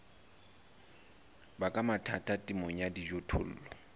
baka mathata temong ya dijothollo